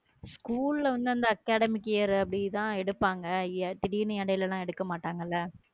School ல வந்து அந்த academic year அப்படிதான் எடுப்பாங்க ஏ திடீர்ன்னு இடையில லாம் எடுக்க மாட்டாங்களா